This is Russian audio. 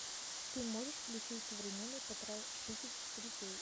ты можешь включить современный потрошитель четыре кей